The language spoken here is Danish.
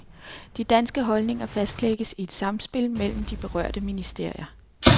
De danske holdninger fastlægges i et samspil mellem de berørte ministerier.